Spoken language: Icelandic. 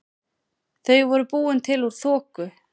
Þau voru búin til úr þoku.